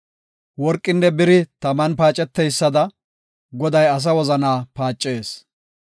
Worqinne biri taman paaceteysada; Goday asa wozana paacees.